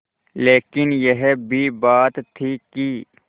लेकिन यह भी बात थी कि